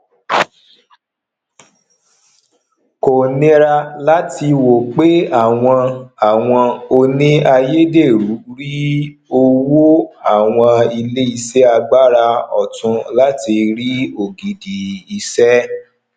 kò nira láti wo pé àwọn àwọn òní ayédèrú rí owó àwọn ilé iṣẹ agbára ọtun láti rí ògidi ìṣe